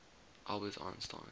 albert einstein